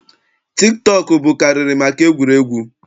Tik tọọkụ bụkarịrị maka egwuregwu.